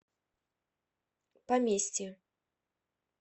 поместье